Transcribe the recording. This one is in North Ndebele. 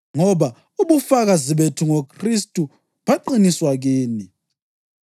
ngoba ubufakazi bethu ngoKhristu baqiniswa kini.